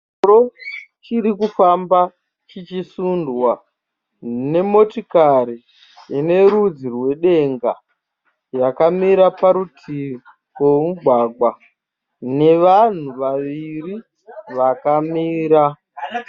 Chingoro chiri kufamba chichisundwa nemotikari ine rudzi rwedenga yakamira parutivi pomugwagwa nevanhu vaviri vakamira.